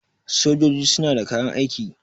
sojoji suna da kayan aiki